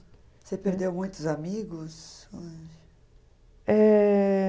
Você perdeu muitos amigos? Eh...